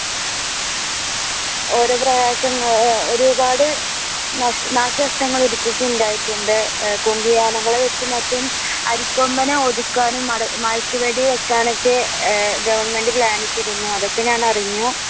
ഓരോ പ്രയാസങ്ങൾ അല്ല ഒരുപാട് നാശനഷ്ടങ്ങൾ ഉണ്ടായിട്ടുണ്ട് മൊത്തവും അരിക്കൊമ്പനെ ഒതുക്കുവാനും മയക്ക് വെടി വെക്കാനൊക്കെ അഹ് ഗവെർന്മെന്റ് plan ഇട്ടിരുന്നു അതൊക്കെ ഞാൻ അറിഞ്ഞു.